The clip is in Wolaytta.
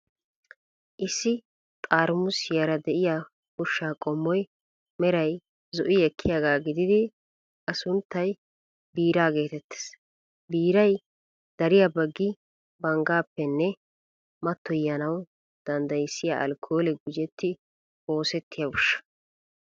Issi xarimuusiyaara de'iyaa ushshaa qommoy meray zo'i ekkiyaagaa gididi, A sunttay biiraa geetettees. Biiray dariya baggi banggaappenne mattoyanawu danddayssiyaa alkkoolee gujettidi oosettiya ushsha.